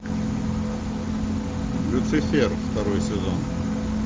люцифер второй сезон